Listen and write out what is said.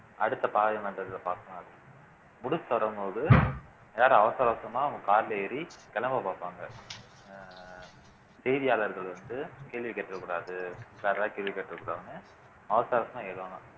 அடுத்த parliament ல பார்க்கலாம் அப்படின்னு முடிச்சு வரும்போது எல்லாரும் அவசர அவசரமா அவங்க carல ஏறி கிளம்ப பார்ப்பாங்க அஹ் செய்தியாளர்கள் வந்து கேள்வி கேட்றக் கூடாது கேள்வி கேட்றக் கூடாதுன்னு அவசர அவசரமா ஏறுவாங்க